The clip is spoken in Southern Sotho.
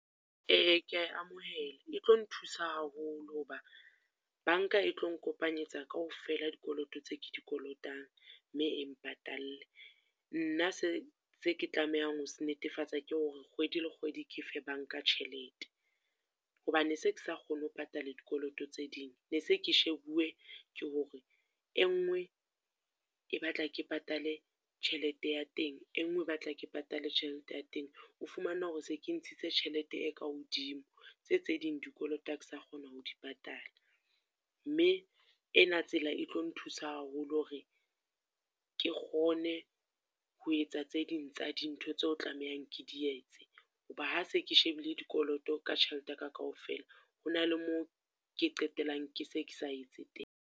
Eya ke ya e amohela, e tlo nthusa haholo hoba banka e tlo nkopanyetsa kaofela dikoloto tse ke di kolotang mme e mpatalle. Nna se se ke tlamehang ho se netefatsa ke hore kgwedi le kgwedi ke fe banka tjhelete. Hoba ne se ke sa kgone ho patala dikoloto tse ding, ne se ke shebuwe ke hore e nngwe e batla ke patale tjhelete ya teng, e nngwe e batla ke patale tjhelete ya teng. O fumana hore se ke ntshitse tjhelete e ka hodimo, tse tse ding dikoloto ha ke sa kgona ho di patala. Mme ena tsela e tlo nthusa haholo hore, ke kgone ho etsa tse ding tsa dintho tseo tlamehang ke di etse. Hoba ha se ke shebile dikoloto ka tjhelete ka kaofela, ho na le moo ke qetelang ke se ke sa etse teng.